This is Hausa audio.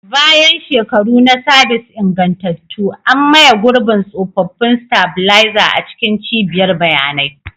Bayan shekaru na sabis ingantattu, an maye gurbin tsofaffin stabilizer a cikin cibiyar bayanai.